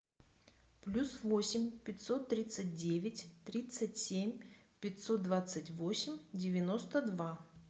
плюс восемь пятьсот тридцать девять тридцать семь пятьсот двадцать восемь девяносто два